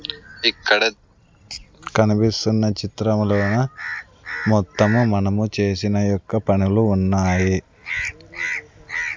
ఇక్కడ కనిపిస్తున్న చిత్రములోన మొత్తము మనము చేసిన యొక్క పనులు ఉన్నాయి.